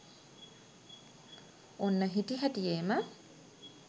ඔන්න හිටිහැටියේම